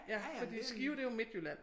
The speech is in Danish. Ja fordi Skive det jo Midtjylland